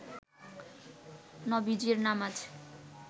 নবীজীর নামাজ